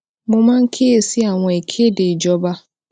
mo máa ń kíyè sí àwọn ìkéde ìjọba